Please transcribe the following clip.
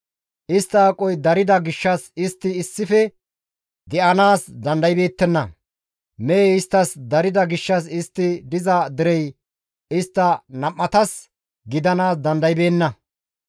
Istta haaroy darida gishshas istti issife de7anaas dandaybeettenna; mehey isttas darida gishshas istti diza derey istta nam7atas gidanaas dandaybeenna.